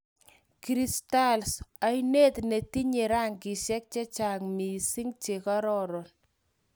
Ca�o Cristales: oinet ne tinye rangishek chechang mising che kororon